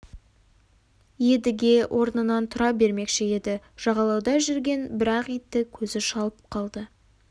едіге орнынан тұра бермекші еді жағалауда жүрген бір ақ итті көзі шалып қалды